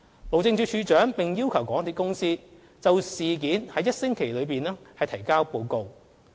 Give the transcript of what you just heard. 路政署署長並要求港鐵公司在1星期內就事件提交報告。